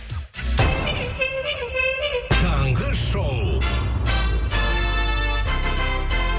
таңғы шоу